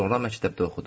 Sonra məktəbdə oxudum.